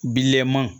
Bilenman